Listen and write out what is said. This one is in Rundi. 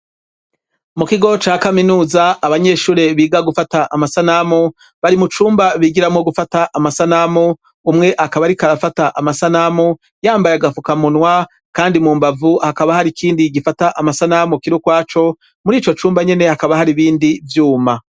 Mu kigo ca kaminuza abanyeshuri biga gufata amasanamu bari mu cumba bigiramo gufata amasanamu. Umwe akaba rikarafata amasanamu yambaye agafuka munwa kandi mu mbavu hakaba hari ikindi gifata amasanamu kiru kwaco muri ico cumba nyene hakaba hari ibindi vyuma.